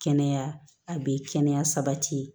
Kɛnɛya a bɛ kɛnɛya sabati